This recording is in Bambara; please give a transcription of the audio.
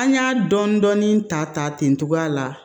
An y'a dɔnni ta ten cogoya la